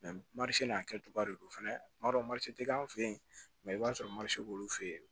n'a kɛcogoya de don fɛnɛ tuma dɔ ma se k'an fɛ yen i b'a sɔrɔ b'olu fɛ yen